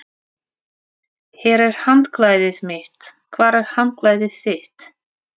Hér er handklæðið mitt. Hvar er handklæðið þitt?